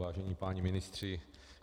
Vážení páni ministři.